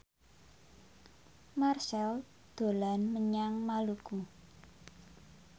Marchell dolan menyang Maluku